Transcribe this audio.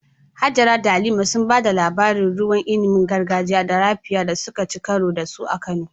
Hajara da Halima sun ba da labarin ruwan inibin gargajiya na "Raphia" da suka ci karo da su a Kano.